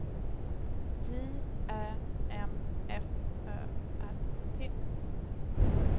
J Ä M F Ö R T